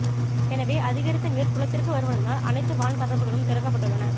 எனவே அதிகரித்த நீா் குளத்திற்கு வருவதனால் அனைத்து வான் கதவுகளும் திறக்கப்பட்டுள்ளன